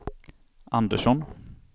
Andersson